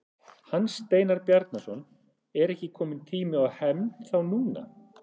Hans Steinar Bjarnason: Er ekki kominn tími á hefnd þá núna?